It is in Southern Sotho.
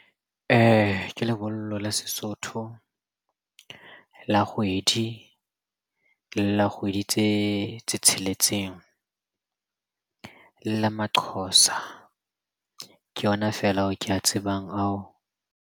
Ke lebollo la Sesotho la kgwedi, le la kgwedi tse tsheletseng. Le la maxhosa, ke yona feela ao ke a tsebang ao.